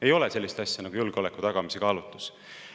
Ei ole sellist asja nagu julgeoleku tagamise kaalutlus.